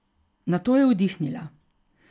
Nato je vdihnila.